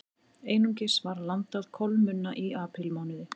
Einungis var landað kolmunna í aprílmánuði